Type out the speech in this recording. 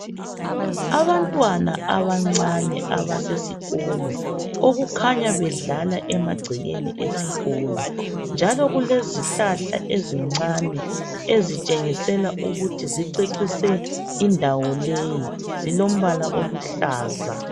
Abantwana abancane abasesikolo okukhanya bedlala emagcekeni esikolo. Njalo kulezihlahla ezincane ezitshengisela ukuthi zicecise indawo leyi. Zilombala oluhlaza.